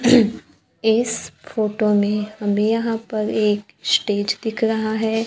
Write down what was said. इस फोटो में हमें यहां पर एक स्टेज दिख रहा है।